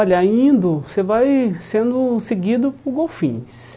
Olha, indo, você vai sendo seguido por golfinhos.